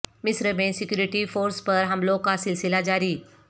مصر میں security forces پر حملوں کا سلسلہ جاری